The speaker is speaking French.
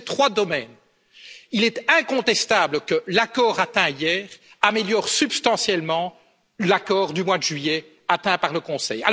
Et, sur ces trois domaines, il est incontestable que l'accord atteint hier améliore substantiellement l'accord du mois de juillet obtenu par le Conseil.